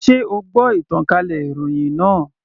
Sé o gbọ́ ìtànkálẹ̀ ìròhìn náà.